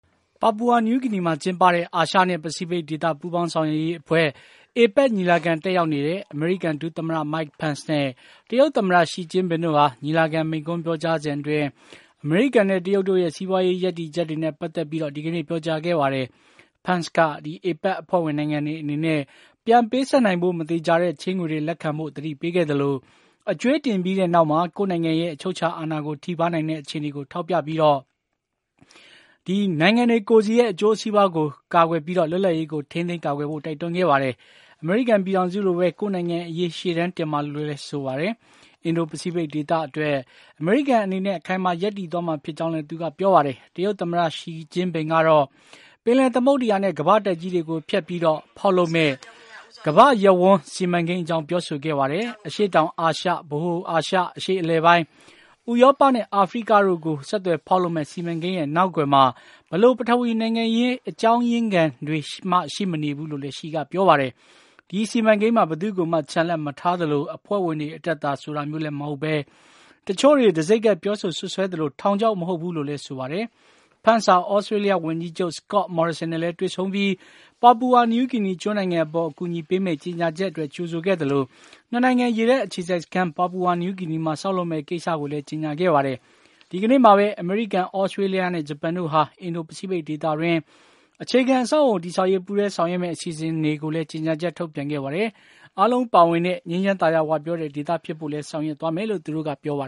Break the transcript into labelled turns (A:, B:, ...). A: ပါပူဝါနယူးဂီနီမှာ ကျင်းပတဲ့ အာရှနဲ့ ပစိဖိတ်ဒေသပူးပေါင်းဆောင်းရွက်ရေးအဖွဲ့ APEC ညီလာခံတက်ရောက်နေတဲ့ အမေရိကန် ဒုသမ္မတ Mike Pence နဲ့ တရုတ်သမ္မတ Xi Jinping တို့ဟာ ညီလာခံမိန့်ခွန်းပြောကြားစဉ်အတွင်း အမေရိကန်နဲ့ တရုတ်တို့ရဲ့ စီးပွါးရေးရပ်တည်ချက်တွေနဲ့ ပတ်သက်ပြီး ဒီကနေ့ ပြောကြားခဲ့ပါတယ်။ Pence က APEC အဖွဲ့ဝင်နိုင်ငံတွေအနေနဲ့ ပြန်ပေးဆပ်နိုင်ဖို့ မသေချာတဲ့ ချေးငွေတွေ လက်ခံဖို့ သတိပေးခဲ့သလို အကြွေးတင်ပြီးနောက်မှာ ကိုယ့်နိုင်ငံရဲ့ အချုပ်အခြာအာဏာကို ထိပါးနိုင်တဲ့အခြေအနေကိုထောက်ပြပြီး ကိုယ့်နိုင်ငံရဲ့ အကျိုးစီးပွါးကို ကာကွယ်ပြီး လွတ်လပ်ရေးကို ထိန်းသိမ်းကာကွယ်ဖို့ တိုက်တွန်းခဲ့ပါတယ်။ အမေရိကန်ပြည်ထောင်စုလိုပဲ ကိုယ့်နိုင်ငံအရေး ရှေ့တန်းတင်ပါလို့လည်း ဆိုပါတယ်။ အင်ဒို ပစိတ်ဖိတ်ဒေသအတွက် အမေရိကန်အနေနဲ့ အခိုင်အမာရပ်တည်သွားမှာ ဖြစ်ကြောင်းလည်း သူက ပြောပါတယ်။ တရုတ်သမ္မတ Xi ကတော့ ပင်လယ်သမုဒ္ဒရာနဲ့ ကမ္ဘာ့တိုက်ကြီးတွေကိုဖြတ်ပြီး ဖေါက်လုပ်မယ့် ကမ္ဘာ့ရပ်ဝန်း စီမံကိန်း အကြောင်း ပြောဆိုခဲ့ပါတယ်။ အရှေ့တောင်အာရှ၊ ဗဟိုအာရှ၊ အရှေ့အလယ်ပိုင်း၊ ဥရောပနဲ့ အာဖရိကတို့ကို ဆက်သွယ်ဖေါက်လုပ်မယ့် စီမံကိန်းရဲ့ နောက်ကွယ်မှာ ဘယ်လို ပထဝီနိုင်ငံရေး အကြောင်းရင်းနောက်ခံတွေမှလည်း ရှိမနေဘူးလို့ ရှီက ပြောပါတယ်။ ဒီစီမံကိန်းမှာ ဘယ်သူ့ကိုမှ ချန်လှပ်မထားသလို အဖွဲ့ဝင်တွေအတွက်သာ ဆိုတာမျိုးလည်းမဟုတ်ဘဲ၊ တချို့တွေ တံဆိပ်ကပ်ပြောဆိုစွပ်စွဲသလို ထောင်ခြောက်မဟုတ်ဘူးလို့လည်း ဆိုပါတယ်။ Pence ဟာ သြစတေးလျဝန်ကြီးချုပ် Scott Morrison နဲ့လည်း တွေ့ဆုံပြီး ပါပူဝါနယူးဂီနီကျွန်းနိုင်ငံအပေါ် အကူအညီပေးမယ့် ကြေညာချက်အတွက် ကြိုဆိုခဲ့သလို ၂ နိုင်ငံ ရေတပ်အခြေစိုက်စခန်း ပါပူဝါနယူးဂီနီမှာ ဆောက်လုပ်မယ့် ကိစ္စကိုလည်း ကြေညာခဲ့ပါတယ်။ ဒီကနေ့မှာဘဲ အမေရိကန်၊ သြစတေးလျနဲ့ ဂျပန်တို့ဟာ အင်ဒို ပစိတ်ဖိတ်ဒေသအတွင်း အခြေခံအဆောက်အအုံတည်ဆောက်ရေး ပူးတွဲဆောင်ရွက်မယ့် အစီအစဉ်ကိုလည်း ကြေညာချက်ထုတ်ပြန်ခဲ့ပါတယ်။ အားလုံးပါဝင်တဲ့ ငြိမ်းချမ်းသာယာဝပြောတဲ့ ဒေသဖြစ်ဖို့လည်း ဆောင်ရွက်သွားမယ်လို့ သူတို့က ပြောပါ